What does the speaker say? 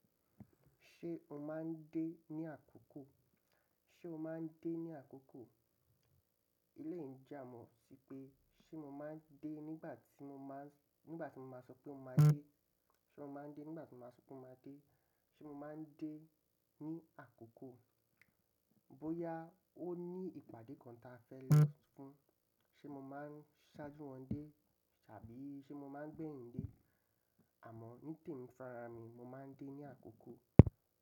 Ṣé o máa ń dé ní àkókò? Ṣé o máa ń dé ní àkókò? Eleyii n ja àmọ́ sí pé ṣe mo máa ń dé nígbàtí mo máa ń sọ pé mo máa dé. Ṣé mo máa ń dé nígbàtí mo ba sọ pé mo máa dé? Ṣé mo máa ń dé ní àkókò? Bóyá ó ní ìpàdé kan ta fẹ́ lo fún, ṣe mo máa ń ṣáájú wọn dé tàbí ṣe mo máa ń gbé yín dé? Àmọ́ ní tèmi fun arami mo máa ń dé ní àkókò.